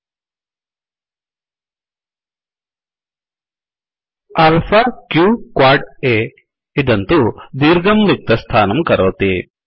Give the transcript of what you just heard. alpha q qad अ alpha क़् क्वाड् अ इदं तु दीर्घं रिक्तस्थानं करोति